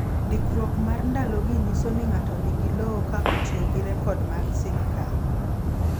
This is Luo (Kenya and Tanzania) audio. Ndikruok mar ndalogi nyiso ni ng’ato nigi lowo ka otiyo gi rekod mag sirkal.